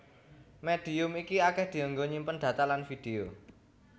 Médium iki akèh dienggo nyimpen data lan vidéo